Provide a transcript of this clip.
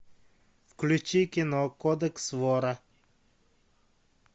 включи кино кодекс вора